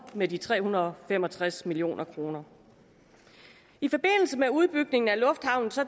med de tre hundrede og fem og tres million kroner i forbindelse med udbygningen af lufthavnen